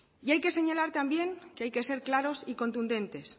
y hay que señalar también que hay que ser claros y contundentes